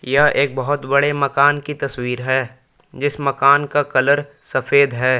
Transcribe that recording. यह एक बहुत बड़े मकान की तस्वीर है जिस मकान का कलर सफेद है।